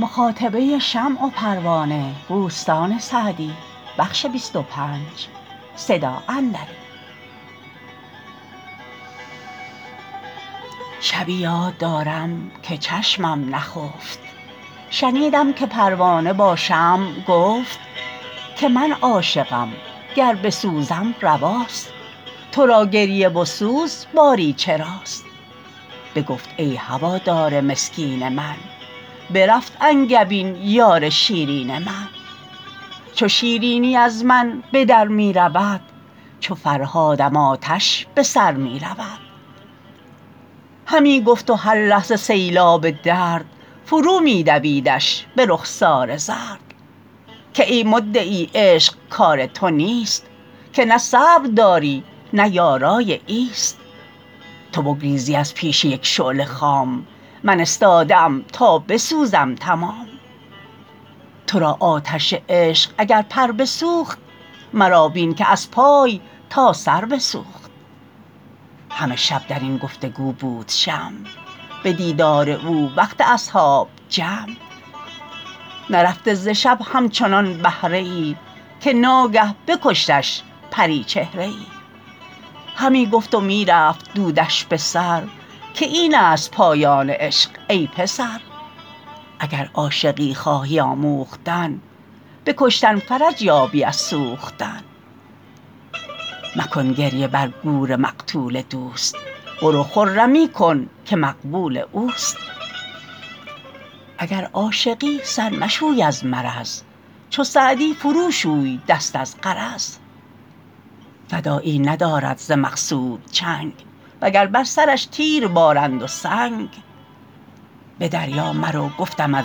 شبی یاد دارم که چشمم نخفت شنیدم که پروانه با شمع گفت که من عاشقم گر بسوزم رواست تو را گریه و سوز باری چراست بگفت ای هوادار مسکین من برفت انگبین یار شیرین من چو شیرینی از من به در می رود چو فرهادم آتش به سر می رود همی گفت و هر لحظه سیلاب درد فرو می دویدش به رخسار زرد که ای مدعی عشق کار تو نیست که نه صبر داری نه یارای ایست تو بگریزی از پیش یک شعله خام من استاده ام تا بسوزم تمام تو را آتش عشق اگر پر بسوخت مرا بین که از پای تا سر بسوخت همه شب در این گفت و گو بود شمع به دیدار او وقت اصحاب جمع نرفته ز شب همچنان بهره ای که ناگه بکشتش پریچهره ای همی گفت و می رفت دودش به سر که این است پایان عشق ای پسر اگر عاشقی خواهی آموختن به کشتن فرج یابی از سوختن مکن گریه بر گور مقتول دوست برو خرمی کن که مقبول اوست اگر عاشقی سر مشوی از مرض چو سعدی فرو شوی دست از غرض فدایی ندارد ز مقصود چنگ و گر بر سرش تیر بارند و سنگ به دریا مرو گفتمت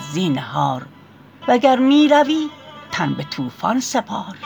زینهار وگر می روی تن به طوفان سپار